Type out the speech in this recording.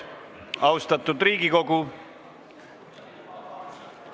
Austatud Riigikogu!